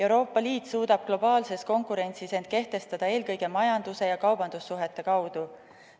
Euroopa Liit suudab globaalses konkurentsis end kehtestada eelkõige majanduse ja kaubandussuhete kaudu.